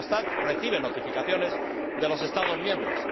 Eurostat recibe notificaciones de los Estados miembros.